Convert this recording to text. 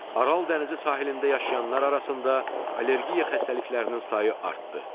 Aral dənizi sahilində yaşayanlar arasında allergiya xəstəliklərinin sayı artdı.